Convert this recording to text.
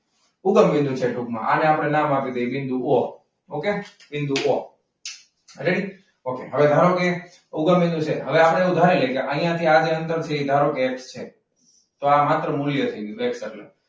ઉગમબિંદુ છે ટૂંકમાં આપણે તેને નામ આપી દઈએ . okay? બિંદુઓ ઉગમબિંદુ છે હવે આપણે જાણી લઈએ અહીંયા થી આજે અંદર છે ધારો કે, તો આ માત્ર મૂલ્યથી